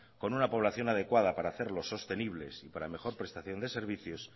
con una población adecuada para hacerlo sostenibles y para mejor prestación de servicios